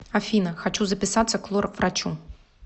афина хочу записаться к лор врачу